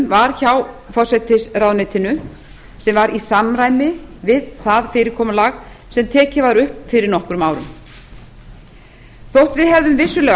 var hjá forsætisráðuneytinu sem var í samræmi við það fyrirkomulag sem tekið var upp fyrir nokkrum árum þótt við hefðum vissulega